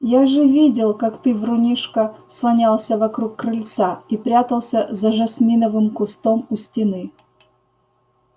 я же видел как ты врунишка слонялся вокруг крыльца и прятался за жасминовым кустом у стены